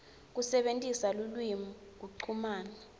kusebentisa lulwimi kuchumana